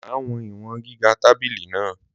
Má wọn iwọn gíga tábìlì na